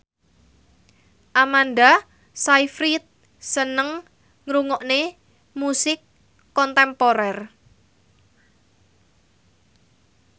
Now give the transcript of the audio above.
Amanda Sayfried seneng ngrungokne musik kontemporer